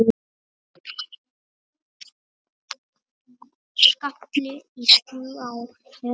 Skalli í slá eða mark?